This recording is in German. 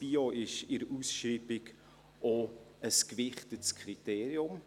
Bio ist in der Ausschreibung auch ein gewichtetes Kriterium.